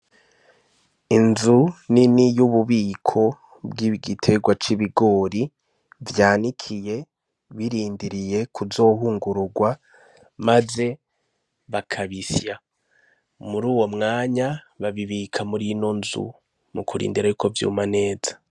Inzu nini y'ububiko bw'igiterwa c'ibigori vyanikiye birindiriye kuzohungururwa maze bakabisya, muruwo mwanya babibika murino nzu mu kurindira yuko vyuma neza.